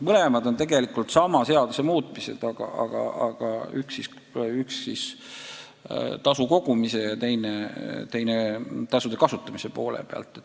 Mõlemad eelnõud on tegelikult sama seaduse muutmise eelnõud, aga üks keskendub tasude kogumisele ja teine nende kasutamisele.